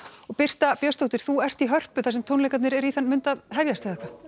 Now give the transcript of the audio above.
Birta Björnsdóttir er í Hörpu þar sem tónleikarnir eru í þann mund að hefjast